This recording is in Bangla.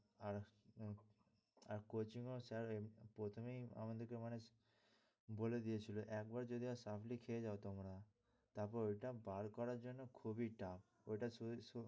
আর coaching ও sir প্রথমেই আমাদেরকে মানে বলে দিয়াছিল একবার যদি spply খেয়ে যায় তোমরা তারপরে ওটা বার করার জন্য খুবই tough